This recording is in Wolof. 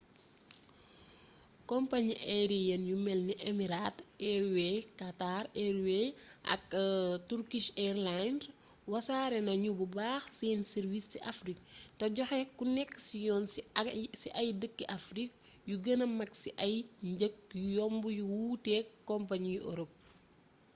kompañi ayeriyen yu melni emirates airways qatar airways ak turkish airlines wasare nañu bu baax seeni sàrwiis ci afrik te joxe koneksiyon ci ay dëkki afrik yu gëna mag ci ay njëg yu yomb yu wuuteek kompañi yu orop